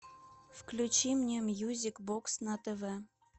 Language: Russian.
включи мне мьюзик бокс на тв